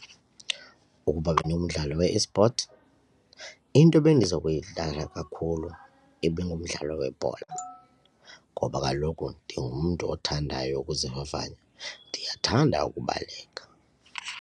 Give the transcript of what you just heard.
Ukuba bendingumdlali we-e-sport into bendizokuyidlala kakhulu ibingumdlalo webhola ngoba kaloku ndingumntu othandayo ukuzivavanya ndiyathanda ukubaleka.